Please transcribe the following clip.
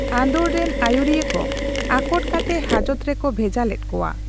ᱟᱸᱫᱳᱲᱨᱮᱱ ᱟᱹᱭᱩᱨᱤᱭᱟᱹ ᱠᱚ ᱟᱠᱚᱴ ᱠᱟᱛᱮ ᱦᱟᱡᱚᱛ ᱨᱮᱠᱚ ᱵᱷᱮᱡᱟ ᱞᱮᱫ ᱠᱳᱣᱟ ᱾